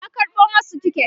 ya karɓo masu tiket